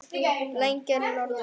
Lengra norður.